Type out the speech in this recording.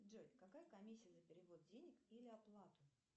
джой какая комиссия за перевод денег или оплату